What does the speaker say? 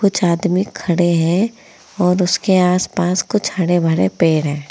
कुछ आदमी खड़े हैं और उसके आस पास कुछ हरे भरे पेड़ हैं।